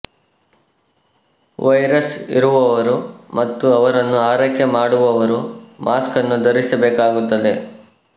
virus ಇರುವವರು ಮತ್ತು ಅವರನ್ನು ಆರೈಕೆ ಮಾಡುವವರು ಮಾಸ್ಕನ್ನು ಧರಿಸಬೇಕಾಗುತ್ತದೆ